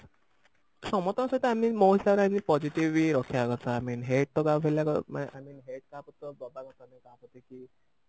ସମସ୍ତଙ୍କ ସହିତ ଆମେ ବି ମୋ ହିସାବରେ ଆମେ positive ହିଁ ରଖିବା କଥା i mean hate ତ କାହାକୁ ମାନେ i mean hate ତ କାହାକୁ ତ ଦବା କଥା ନୁହଁ କାହାକୁ ଦେଖିକି